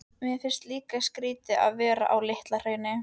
Mér finnst líka skrýtið að vera á Litla-Hrauni.